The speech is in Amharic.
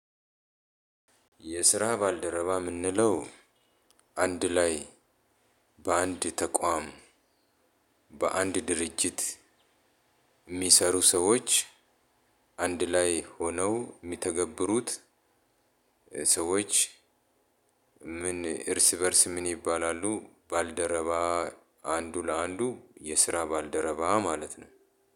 የስራ ባልደረባ የምንለው አንድ ላይ። በአንድ ተቋም። በአንድ ድርጅት። የሚሰሩ ሰዎች አንድ ላይ ሆነው የሚተገብሩት ሰዎች። ምን እርስ በእርስ ምን ይባላሉ? ባልደረባ። አንዱ ለአንዱ የስራ ባልደረባ ማለት ነው።